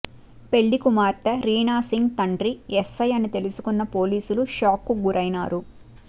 పెళ్లి కుమార్తె రీనా సింగ్ తండ్రి ఎస్ఐ అని తెలుసుకున్న పోలీసులు షాక్ కు గురైనారు